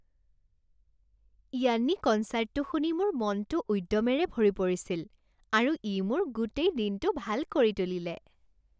য়ান্নি কনচাৰ্টটো শুনি মোৰ মনটো উদ্যমেৰে ভৰি পৰিছিল আৰু ই মোৰ গোটেই দিনটো ভাল কৰি তুলিলে।